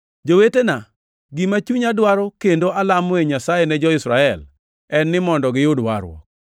Jowetena, gima chunya dwaro kendo alamoe Nyasaye ne jo-Israel, en ni mondo giyud warruok.